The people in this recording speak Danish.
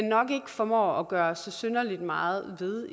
nok ikke formår at gøre så synderlig meget ved